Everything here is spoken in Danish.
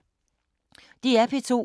DR P2